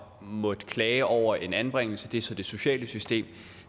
måtte klage over en anbringelse det er så i det sociale system